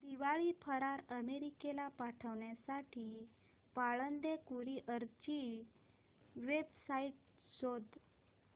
दिवाळी फराळ अमेरिकेला पाठविण्यासाठी पाळंदे कुरिअर ची वेबसाइट शोध